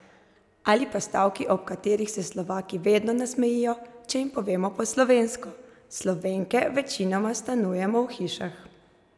Ali pa stavki, ob katerih se Slovaki vedno nasmejijo, če jih povemo po slovensko: "Slovenke večinoma stanujemo v hišah.